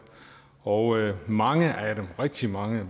og mange af dem rigtig mange